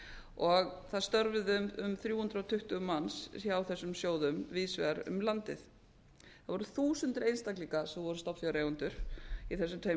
og þar störfuðu um þrjú hundruð tuttugu manns hjá þessum sjóðum víðs vegar um landið það voru þúsundir einstaklinga sem voru stofnfjáreigendur í þessum tveimur